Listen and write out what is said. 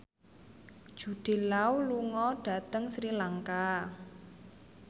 Jude Law lunga dhateng Sri Lanka